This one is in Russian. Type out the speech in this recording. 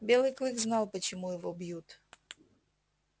белый клык знал почему его бьют